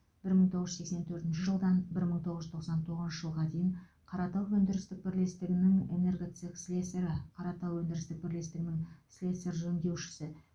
мың тоғыз жүз сексен төртінші жылдан мың тоғыз жүз тоқсан тоғызыншы жылға дейін қаратау өндірістік бірлестігінің энергоцех слесарі қаратау өндірістік бірлестігінің слесарь жөндеушісі